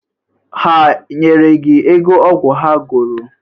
Ha nyere gi ego ọgwụ ha goro?